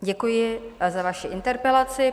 Děkuji za vaši interpelaci.